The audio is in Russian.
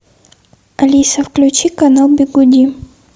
алиса включи канал бигуди